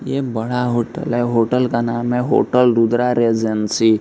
ये बड़ा होटल है होटल का नाम है होटल रुद्रा रेजेंसी।